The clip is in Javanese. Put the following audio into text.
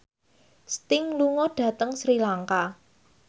Sting lunga dhateng Sri Lanka